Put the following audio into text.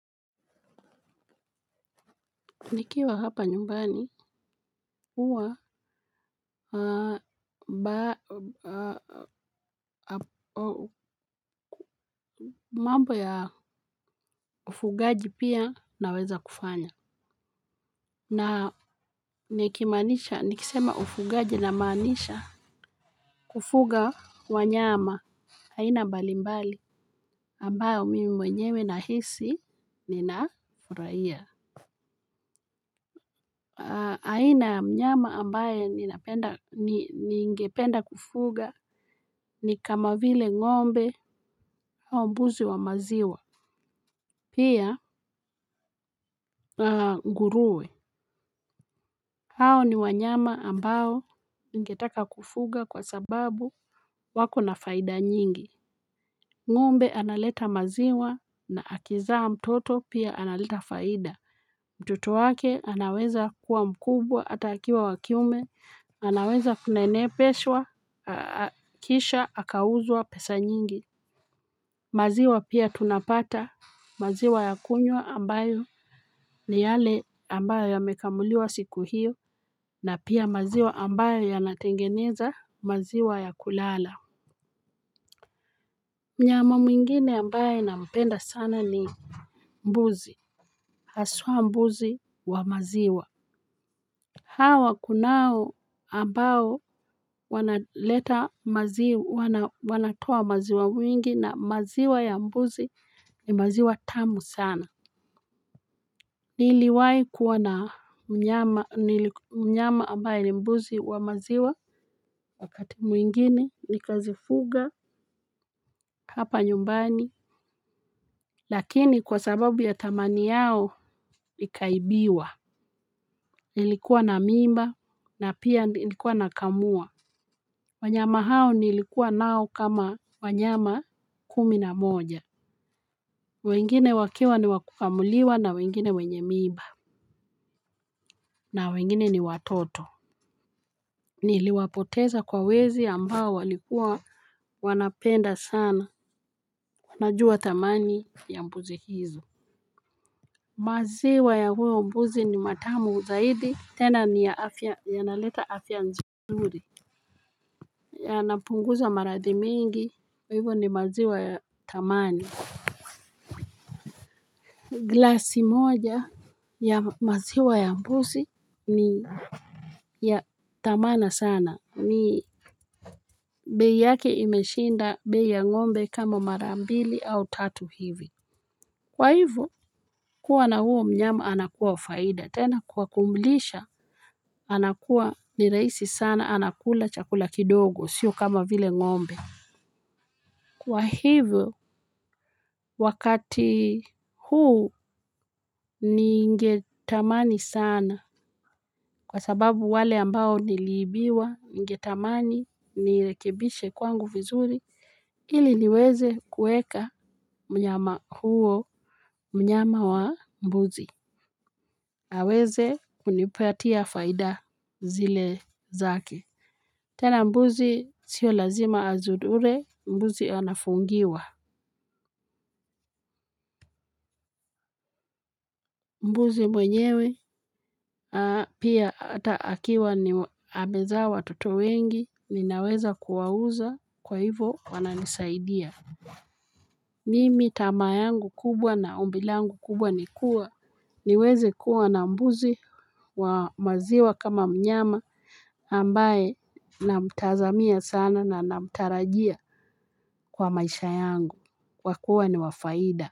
Nikiwa hapa nyumbani, huwa ba. Mambo ya ufugaji pia naweza kufanya. Na nikimanisha, nikisema ufugaji namaanisha kufuga wanyama aina mbali mbali ambao mimi mwenyewe nahisi ninafurahia. Aina ya mnyama ambaye ningependa kufuga ni kama vile ng'ombe au mbuzi wa maziwa. Pia nguruwe. Hao ni wanyama ambao ningetaka kufuga kwa sababu wako na faida nyingi. Ng'ombe analeta maziwa na akizaa mtoto pia analeta faida. Mtoto wake anaweza kuwa mkubwa hata akiwa wakiume, anaweza kunenepeshwa, kisha, akauzwa pesa nyingi. Maziwa pia tunapata, maziwa ya kunywa ambayo ni yale ambayo yamekamuliwa siku hiyo, na pia maziwa ambayo yanatengenezwa maziwa ya kulala. Mnyama mwingine ambaye nampenda sana ni mbuzi, haswa mbuzi wa maziwa. Hawa kunao ambao wanaleta maziwa wanatoa maziwa mwingi na maziwa ya mbuzi ni maziwa tamu sana. Niliwai kuwa na mnyama ambaye ni mbuzi wa maziwa. Wakati mwingine nikazifuga hapa nyumbani. Lakini kwa sababu ya thamani yao ikaibiwa. Nilikuwa na mimba na pia nilikuwa nakamua. Wanyama hao nilikuwa nao kama wanyama kumi na moja. Wengine wakiwa niwakukamuliwa na wengine wenye mimba. Na wengine ni watoto. Niliwapoteza kwa wezi ambao walikua wanapenda sana tunajua thamani ya mbuzi hizo. Maziwa ya huyu mbuzi ni matamu zaidi. Tena ni ya afya, yanaleta afya nzuri. Yanapunguza maradhi mingi. Hivo ni maziwa ya thamani. Glasi moja ya maziwa ya mbuzi ni ya thamani sana ni bei yake imeshinda bei ya ng'ombe kama mara mbili au tatu hivi. Kwa hivyo kuwa na huo mnyama anakuwa faida tena kwa kumulisha. Anakua ni rahisi sana anakula chakula kidogo sio kama vile ng'ombe. Kwa hivyo wakati huu ningetamani sana kwa sababu wale ambao niliibiwa ningetamani, nirekebishe kwangu vizuri, ili niweze kuweka mnyama huo mnyama wa mbuzi. Hawezi kunipatia faida zile zake. Tena mbuzi sio lazima azuzure, mbuzi anafungiwa. Mbuzi mwenyewe pia atakiwa amezaa watoto wengi ninaweza kuwauza kwa hivyo wananisaidia. Mimi tamaa yangu kubwa na ombi langu kubwa ni kuwa niweze kuwa na mbuzi wa maziwa kama mnyama ambaye namtazamia sana na namtarajia kwa maisha yangu kwa kuwa ni wa faida.